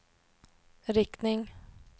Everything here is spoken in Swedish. riktning